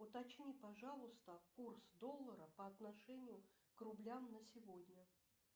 уточни пожалуйста курс доллара по отношению к рублям на сегодня